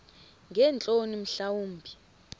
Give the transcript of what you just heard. ngeentloni mhla wumbi